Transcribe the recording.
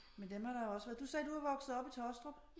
Men dem har der jo også været du sagde at du er vokset op i Tåstrup